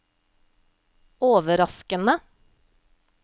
overraskende